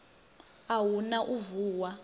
a hu na u vuwa